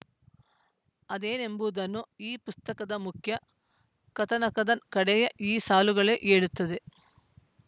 ಅದೇನೆಂಬುದನ್ನು ಈ ಪುಸ್ತಕದ ಮುಖ್ಯಕಥಾನಕದ ಕಡೆಯ ಈ ಸಾಲುಗಳೇ ಹೇಳುತ್ತವೆ